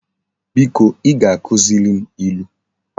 Biko I ga-akuziri m ilu